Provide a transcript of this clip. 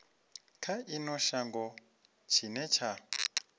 kha ino shango tshine tsha